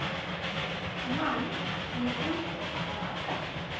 Mann sem er úti að aka!